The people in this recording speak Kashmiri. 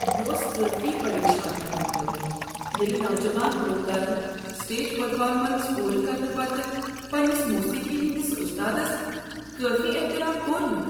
یہ اوس کٲفی پریشان کرن وول ییٚلہ نوجوان گلوکارن سٹیج پرفارمنس پوٗرٕ کرنہٕ پتہٕ پننس موسیقی ہندس استادس کٲفی احترام کوٚر نہٕ۔